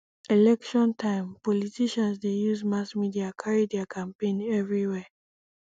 election time politicians dey use mass media carry their campaign everywhere